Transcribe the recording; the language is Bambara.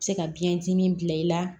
Se ka biyɛndimi bila i la